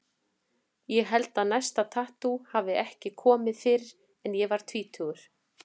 Ég held að næsta tattú hafi ekki komið fyrr en ég var tvítugur.